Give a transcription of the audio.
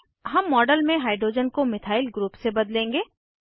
हम मॉडल में हाइड्रोजन को मिथाइल ग्रुप से बदलेंगे